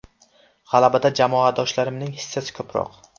G‘alabada jamoadoshlarimning hissasi ko‘proq.